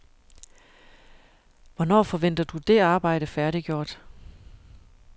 Hvornår forventer du det arbejde færdiggjort?